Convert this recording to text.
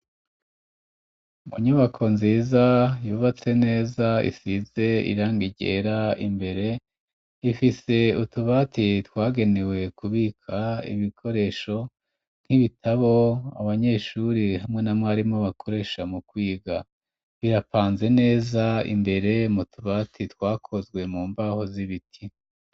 Mu nyubako nziza, yubatse neza, isize irangi ryera, imbere ifise utubati, twagenewe kubika ibikoresho, nk'ibitabo, abanyeshuri, hamwe na mwarimu, bakoresha mu kwiga; birapanze neza, imbere mu tubati, twakozwe mu mbaho, z'ibiti.